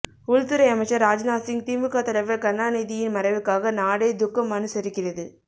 உள்துறை அமைச்சர் ராஜ்நாத் சிங் திமுக தலைவர் கருணாநிதியின் மறைவுக்காக நாடே துக்கம் அனுசரிக்கிறது